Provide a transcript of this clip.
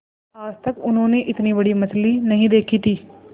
आज तक उन्होंने इतनी बड़ी मछली नहीं देखी थी